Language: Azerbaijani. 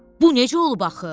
Bu necə olub axı?